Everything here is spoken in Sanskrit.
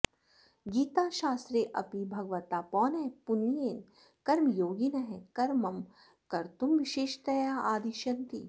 गीताशास्त्रेऽपि भगवता पौनःपुन्येन कर्मयोगिनः कर्म कर्तुं विशेषतया आदिश्यन्ते